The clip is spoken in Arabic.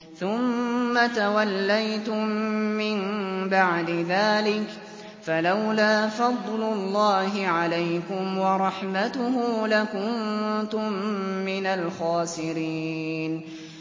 ثُمَّ تَوَلَّيْتُم مِّن بَعْدِ ذَٰلِكَ ۖ فَلَوْلَا فَضْلُ اللَّهِ عَلَيْكُمْ وَرَحْمَتُهُ لَكُنتُم مِّنَ الْخَاسِرِينَ